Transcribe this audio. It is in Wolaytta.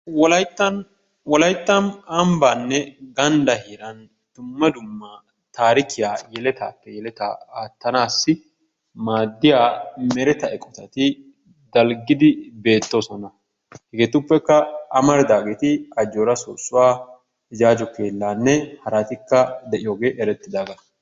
Wolayttan Wolayttan ambbaninne ganddan dumma dumma taarikkiya yeletaappe yelettaa attanaassi maadiya mereta eqotati dalggidi beettoosona. Hegeetuppekka amaridaageeti Ajjooraa soossuwa Ijjaajjo keellanne hartikka de'iyogee eretiddaaga.